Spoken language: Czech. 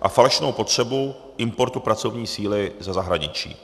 a falešnou potřebu importu pracovní síly ze zahraničí.